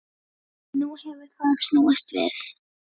Nú hefur það snúist við.